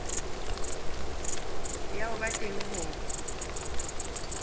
ya ho ba teng ho